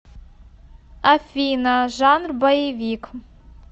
афина жанр боевик